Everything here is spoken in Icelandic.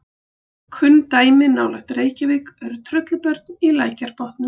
Kunn dæmi nálægt Reykjavík eru Tröllabörn í Lækjarbotnum.